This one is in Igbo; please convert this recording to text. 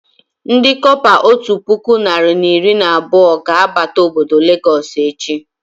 Ndị kọpa otu puku narị na iri na abụọ ga abata obodo Lagos echi